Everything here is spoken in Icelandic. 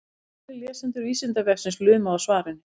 ef einhverjir lesendur vísindavefsins luma á svarinu